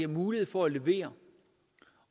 mulighed for at levere